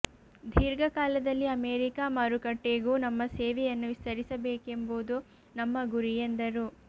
ದೀರ್ಘಕಾಲದಲ್ಲಿ America ಮಾರುಕಟ್ಟೆಗೂ ನಮ್ಮ ಸೇವೆಯನ್ನು ವಿಸ್ತರಿಸಬೇಕೆಂಬುದು ನಮ್ಮ ಗುರಿ ಎಂದರು